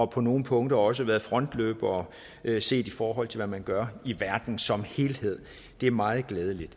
på nogle punkter også har været frontløbere set i forhold til hvad man gør i verden som helhed det er meget glædeligt